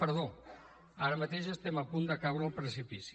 perdó ara mateix estem a punt de caure al precipici